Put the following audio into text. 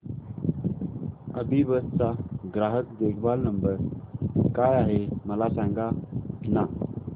अभिबस चा ग्राहक देखभाल नंबर काय आहे मला सांगाना